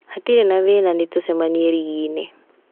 Hatirĩ na thĩna, nĩtũcemanie ring'i-inĩ